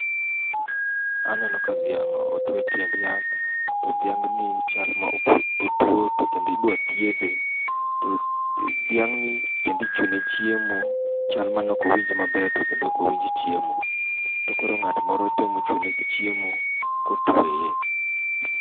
Aneno ka dhiang' otwe e tiend yath to dhiang' ni chalma otuo to kendo idwa thiedhe. Kendo dhiang'ni kendo ichune chiemo, chalni ne ok owinj maber to kendo ok owinj chiemo. To koro ng'at moro temo chune gi chiemo kotweye.